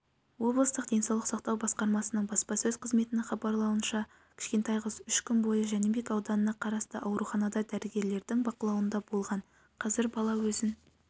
облыстық денсаулық сақтау басқармасының баспасөз-қызметінің хабарлауынша кішкентай қыз үш күн бойы жәнібек ауданына қарасты ауруханада дәрігерлерінің бақылауында болған қазір бала өзін